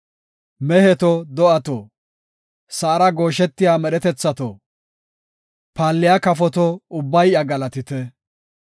Meheto, do7ato, sa7ara gooshetiya medhetethato, paalliya kafoto ubbay iya galatite.